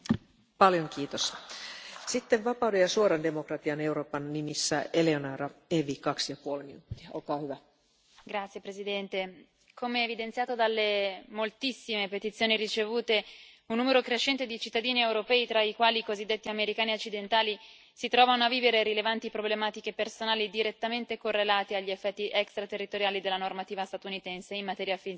Signora Presidente, onorevoli colleghi, come evidenziato dalle moltissime petizione ricevute, un numero crescente di cittadini europei, tra i quali i cosiddetti americani occidentali, si trovano a vivere rilevanti problematiche personali direttamente correlate agli effetti extraterritoriali della normativa statunitense in materia fiscale,